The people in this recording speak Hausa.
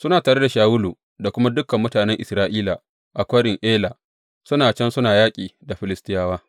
Suna tare da Shawulu da kuma dukan mutanen Isra’ila a Kwarin Ela, suna can suna yaƙi da Filistiyawa.